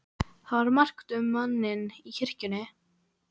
Það var margt um manninn í kirkjunni.